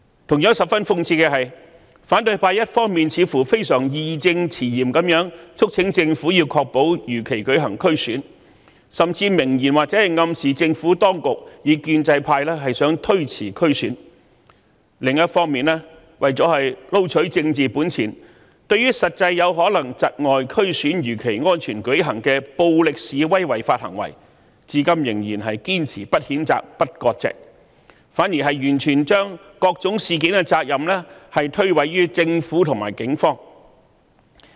同樣，十分諷刺的是，反對派一方面非常義正詞嚴地促請政府確保如期舉行區議會選舉，甚至明言或暗示政府當局和建制派企圖推延區議會選舉，但另一方面，為了撈取政治本錢，對於實際有可能窒礙區議會選舉如期安全舉行的暴力示威違法行為，卻至今仍然堅持不譴責、不割席，反而將各種事件的責任完全推諉於政府和警方。